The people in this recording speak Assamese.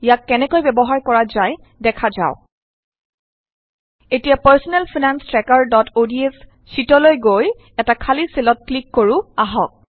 ইয়াক কেনেকৈ ব্যৱহাৰ কৰা যায় দেখা যাওক এতিয়া পাৰ্ছনেল ফাইনান্স ট্ৰেকাৰods শ্যিটলৈ গৈ এটা খালী চেলত ক্লিক কৰো আহক